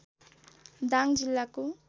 दाङ जिल्लाको